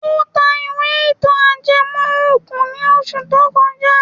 Ó ta ìwé ìtàn ajẹmọ́ ògùn ní oṣù tó kọjá.